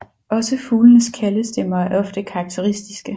Også fuglenes kaldestemmer er ofte karakteristiske